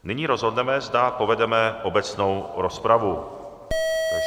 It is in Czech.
Nyní rozhodneme, zda povedeme obecnou rozpravu.